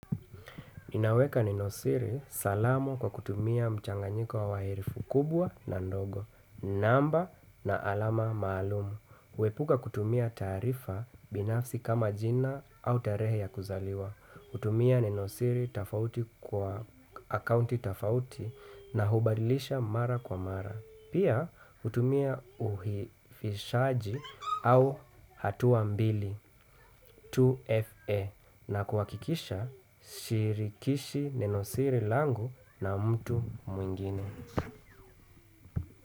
Inaweka ninausiri salamu kwa kutumia mchanganyiko wa herufi kubwa na ndogo. Namba na alama maalumu. Huepuka kutumia taarifa binafsi kama jina au tarehe ya kuzaliwa. Kutumia ninosiri tafauti kwa akaunti tafauti na hubadilisha mara kwa mara. Pia hutumia uhifishaji au hatua mbili 2FA na kuhakikisha si shirikishi neno siri langu na mtu mwingine.